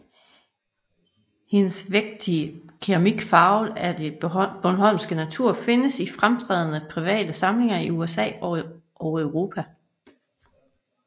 Hendes vægtige keramik farvet af den bornholmske natur findes i fremtrædende private samlinger i USA og Europa